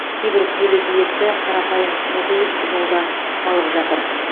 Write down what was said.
кейбір көлік иесі қарапайым су құйып жолда қалып жатыр